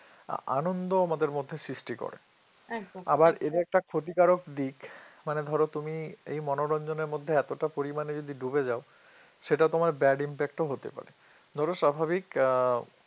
আনন্দ আমাদের মধ্যে সৃষ্টি করে আবার এর একটা ক্ষতিকারক দিক মানে ধরো তুমি এই মনোরঞ্জনের মধ্যে এতটা পরিমাণে যদি ডুবে যাও সেটা তোমার bad impact ও হতে পারে ধরো স্বাভাবিক আহ